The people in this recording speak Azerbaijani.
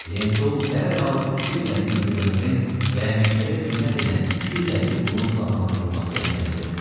Lentul dərhal 250 legionerin və məktəbə xidmət edən 250 qulun silahlandırılması əmrini verdi.